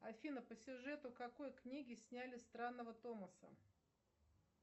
афина по сюжету какой книги сняли странного томаса